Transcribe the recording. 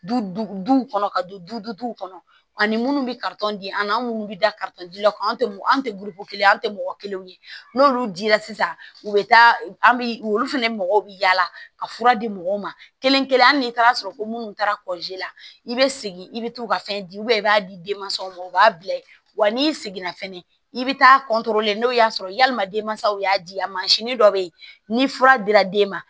Duw kɔnɔ ka don duw kɔnɔ ani munnu bɛ di an minnu bɛ da la ka an tɛm'an tɛgulu kelen ye an tɛ mɔgɔ kelen ye n'olu dila sisan u bɛ taa an bi olu fɛnɛ mɔgɔw bɛ yaala ka fura di mɔgɔw ma kelen kelen hali taara ko minnu taara kɔlɔn la i bɛ segin i bɛ taa u ka fɛn di i b'a di denmansaw ma u b'a bila yen wa n'i seginna fɛnɛ i bɛ taa n'o y'a sɔrɔ yalima denmansaw y'a di yan dɔ bɛ ye ni fura dira den ma